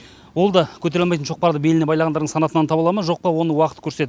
ол да көтере алмайтын шоқпарды беліне байлағандардың санатынан табыла ма жоқ па оны уақыт көрсетеді